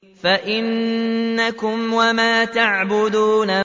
فَإِنَّكُمْ وَمَا تَعْبُدُونَ